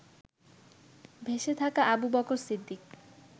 ভেসে থাকা আবু বকর সিদ্দিক